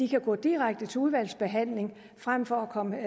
kan gå direkte til udvalgsbehandling frem for at komme